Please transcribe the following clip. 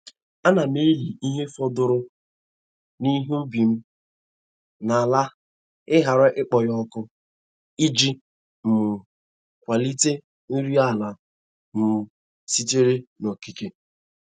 A na m eli ihe fọdụrụ n’ihe ubi m n’ala ghara ịkpọ ya ọkụ, iji um kwalite nri ala um sitere n’okike.